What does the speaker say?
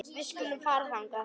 Við skulum fara þangað.